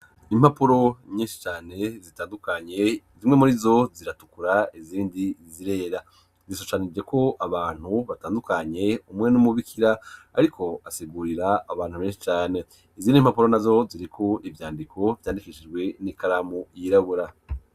Impapuro nyinshi cane zitandukanye zimwe muri zo ziratukura izindi zirera. Zishushanijeko abantu batandukanye umwe n'umubikira ariko asigurira abantu benshi cane. Izindi impapuro nazo ziriko ivyandiko vyandikishijwe n'ikaramu yirabura.